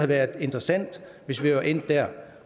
været interessant hvis vi var endt der